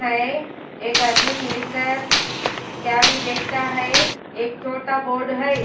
ऐ एक आदमी मिलकर चाभी देखता है एक छोटा बोर्ड है।